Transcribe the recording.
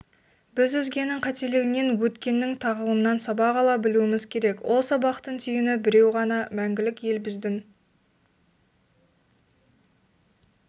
біз өзгенің қателігінен өткеннің тағылымынан сабақ ала білуіміз керек ол сабақтың түйіні біреу ғана мәңгілік елбіздің